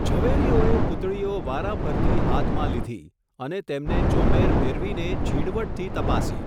ઝવેરીઓએ પૂતળીઓ વારાફરતી હાથમાં લીધી, અને તેમને ચોમેર ફેરવીને ઝીણવટથી તપાસી.